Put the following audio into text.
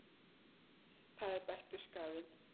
Það er bættur skaðinn.